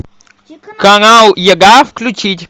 канал еда включить